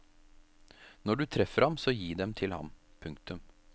Når du treffer ham så gi dem til ham. punktum